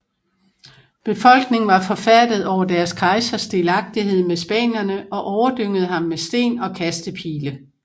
Befolkningen var forfærdet over deres kejsers delagtighed med spanierne og overdyngede ham med sten og kastepile